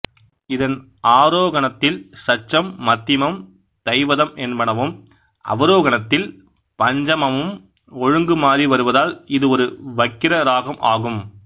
இதன் ஆரோகணத்தில் சட்சம் மத்திமம் தைவதம் என்பனவும் அவரோகணத்தில் பஞ்சமமும் ஒழுங்குமாறி வருவதால் இது ஒரு வக்கிர இராகம் ஆகும்